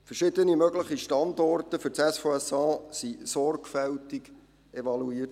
Verschiedene mögliche Standorte für das SVSA wurden sorgfältig evaluiert.